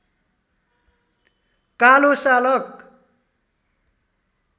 कालो सालक